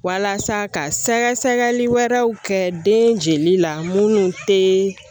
Walasa ka sɛgɛsɛgɛli wɛrɛw kɛ den jeli la munnu te